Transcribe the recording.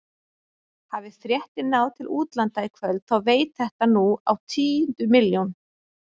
Hafi fréttin náð til útlanda í kvöld þá veit þetta nú á tíundu milljón.